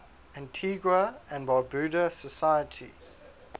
antigua and barbuda society